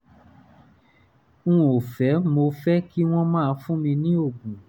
n ò fẹ́ mo fẹ́ kí wọ́n máa fún mi ní oògùn